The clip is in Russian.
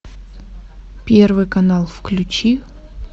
первый канал включи